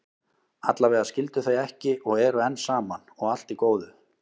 Allavega skildu þau ekki og eru enn saman, og allt í góðu.